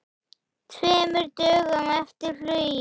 Tveimur dögum eftir flugið.